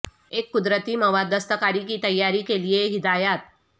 ایک قدرتی مواد دستکاری کی تیاری کے لئے ہدایات